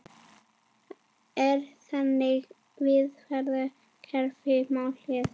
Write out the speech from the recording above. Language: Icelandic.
Er þriggja miðvarða kerfi málið?